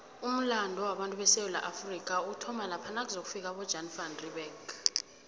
umulando wabatu besewula afrika uthoma lapha nakuzofika abojan van reebeck